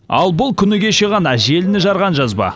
ал бұл күні кеше ғана желіні жарған жазба